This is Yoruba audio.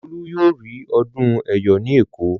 Olú yóò rí ọdún Ẹ̀yọ̀ ní Èkó.